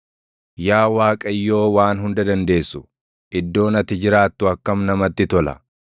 Yaa Waaqayyoo Waan Hunda Dandeessu, iddoon ati jiraattu akkam namatti tola!